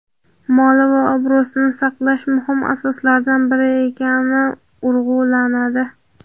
moli va obro‘sini saqlash muhim asoslardan biri ekani urg‘ulanadi.